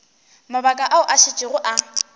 mabaka ao a šetšego a